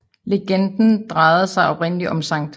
Legenden drejede sig oprindelig om Skt